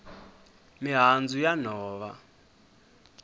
mihandzu ya nhova